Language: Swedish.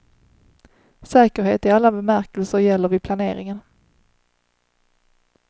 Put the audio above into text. Säkerhet i alla bemärkelser gäller vid planeringen.